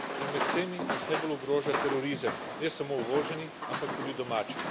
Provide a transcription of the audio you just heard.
Med vsemi nas najbolj ogroža terorizem ne samo uvoženi, ampak tudi domači.